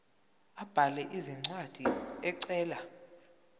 abhale incwadi ecela